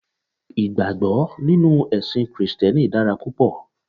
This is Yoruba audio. Ìgbàgbó nínú èsìn krìsténi dára púpò